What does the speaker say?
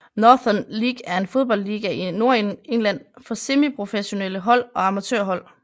Northern League er en fodboldliga i Nordengland for semiprofessionelle hold og amatørhold